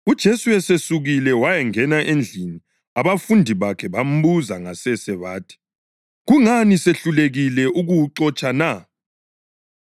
UJesu esesukile wayangena endlini abafundi bakhe bambuza ngasese bathi, “Kungani sehlulekile ukuwuxotsha na?”